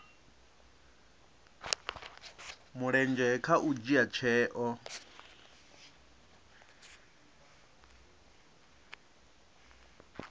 mulenzhe kha u dzhia tsheo